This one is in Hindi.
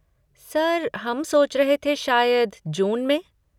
सर हम सोच रहे थे शायद जून में?